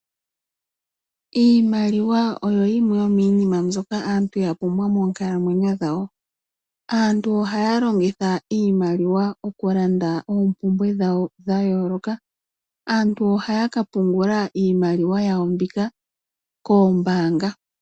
Iimaliwa oyo yimwe yominima mbyoka aantu yapumbwa moonkalamwenyo dhawo. Aantu ohaya longitha iimaliwa okulanda oompumbe dhawo dha yooloka. Aantu ohaya ka pungula iimaliwa yawo mbika koombanga.